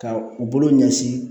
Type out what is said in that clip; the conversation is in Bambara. Ka u bolo ɲɛsin